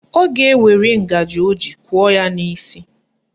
Ọ ga-ewere ngaji o ji kụọ ya n'isi